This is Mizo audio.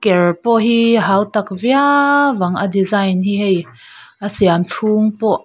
ker pawh hi hautak viau ang a design hi hei a siam chhung pawh --